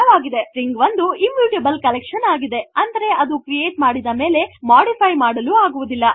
string ಒಂದು immutable collection ಆಗಿದೆ ಅಂದರೆ ಅದನ್ನು ಕ್ರಿಯೇಟ್ ಮಾಡಿದ ಮೇಲೆ ಮೊಡಿಫೈ ಮಾಡಲು ಆಗುವುದಿಲ್ಲ